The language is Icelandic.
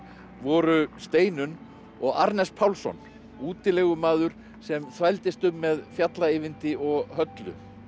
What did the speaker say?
voru Steinunn og Pálsson útilegumaður sem þvældist um með fjalla Eyvindi og Höllu